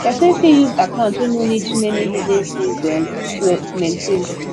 person fit use account wey no need too many hidden fees um to maintain